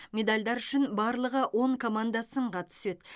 медальдар үшін барлығы он команда сынға түседі